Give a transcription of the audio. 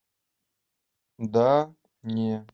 да не